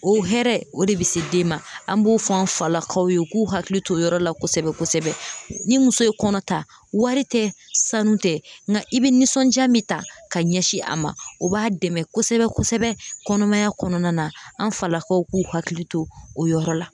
O hɛrɛ o de be se den ma an b'o fɔ an falakaw ye u k'u hakili to o yɔrɔ la kosɛbɛ kosɛbɛ ni muso ye kɔnɔ ta wari tɛ sanu tɛ nga i be nisɔnja min ta ka ɲɛsin a ma o b'a dɛmɛ kosɛbɛ kosɛbɛ kɔnɔmaya kɔnɔnan na an falakaw k'u hakili to o yɔrɔ la